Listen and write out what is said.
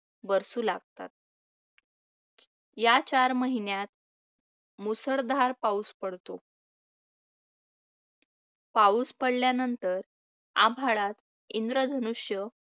बरसू लागतात. या चार महिन्यांत मुसळधार पाऊस पडतो. पाऊस पडल्यानंतर आभाळात इंद्रधनुष्य